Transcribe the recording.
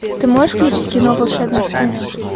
ты можешь включить кино волшебная страна